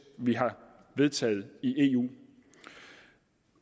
vi har vedtaget i eu